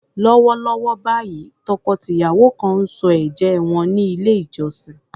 Lọ́wọ́lọ́wọ́ báyìí, tọkọ-tìyàwó kan ń sọ ẹ̀jẹ́ wọn ní ilé-ìjọsìn.